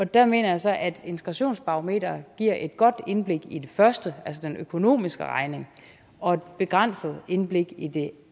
der mener jeg så at integrationsbarometeret giver et godt indblik i det første altså den økonomiske regning og et begrænset indblik i det